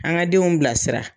An ka denw bilasira